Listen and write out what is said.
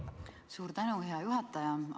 Suur tänu, hea juhataja!